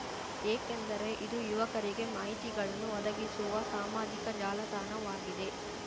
ಏಕೆಂದರೆ ಇದು ಯುವಕರಿಗೆ ಮಾಹಿತಿಗಳನ್ನು ಒದಗಿಸುವ ಸಾಮಾಜಿಕ ಜಾಲತಾಣವಾಗಿದೆ